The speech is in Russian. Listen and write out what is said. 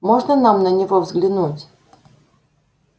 можно нам на него взглянуть